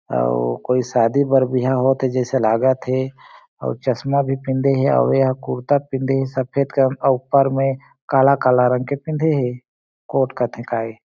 अउ कोई शादी बर बिहा होथे जईसे लागत हे आउ चस्मा भी पेंधे हे अउ कुरता पेंधे हे सफेद कम ऊपर में काला काला रंग के पेंधे हे कोट कथे काये--